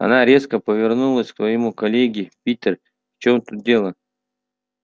она резко повернулась к своему коллеге питер в чем тут дело